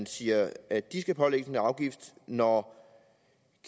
siger at de skal pålægges en afgift når